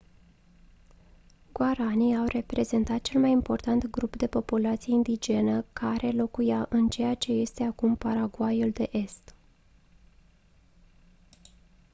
guaraní au reprezentat cel mai important grup de populație indigenă care locuia în ceea ce este acum paraguayul de est